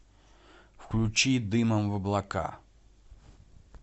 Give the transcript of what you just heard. включи дымом в облака